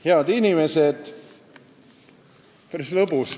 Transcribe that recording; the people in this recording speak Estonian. Head inimesed!